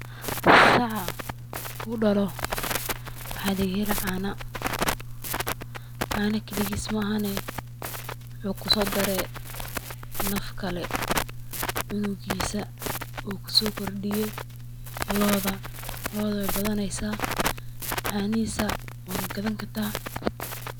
Saca marku dhalo waxaa laga heli caana, caana keligis ma ahane wuxuu kuso dare naf kale ,cunigisa uu kuso kordiye looda, looda way badaneysa caanihisa waa gagadan kartaa